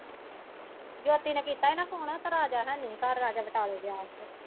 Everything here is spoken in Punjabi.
ਜਦੋਂ ਤੁਸੀਂ ਕੀਤਾ ਹੀ ਨਾ ਫੋਨ ਤੇ ਰਾਜਾ ਹਨੀ ਸੀ ਘਰ ਰਾਜਾ ਬਟਾਲੇ ਗਿਆ ਹੀ।